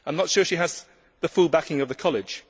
I am not sure she has the full backing of the college.